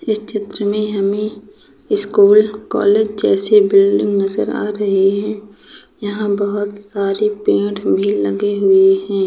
इस चित्र में हमे स्कूल कॉलेज जैसे बिल्डिंग नजर आ रहे हैं यहाँ बोहोत सारे पेड़ भी लगे हुए हैं।